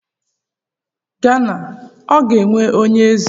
Gana ọ ga-enwe onye eze?